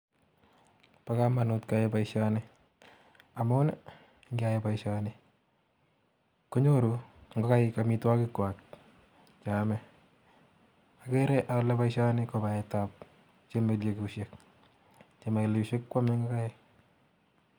Bo komonut keyai boisioni amun ngeyai boisioni konyoru ngokaik amitwokikwa cheame, akere ale boisioni kobaetab chemielekusiek chemielekusiek kwome ngokaik.